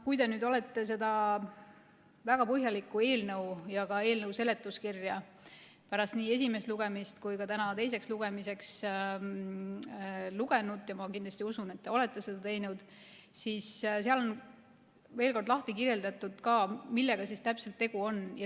Kui te olete seda väga põhjalikku eelnõu ja ka eelnõu seletuskirja nii pärast esimest lugemist kui ka enne tänast teist lugemist lugenud – ma usun, et te kindlasti olete seda teinud –, siis seal on veel kord lahti kirjeldatud, millega täpselt tegu on.